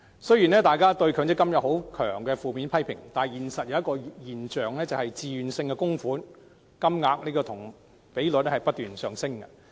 雖然大家都強烈批評強積金，但現實卻出現一個現象，就是自願性供款的金額和比率均不斷上升。